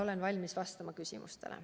Olen valmis vastama küsimustele.